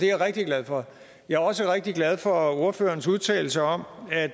jeg rigtig glad for jeg er også rigtig glad for ordførerens udtalelse om at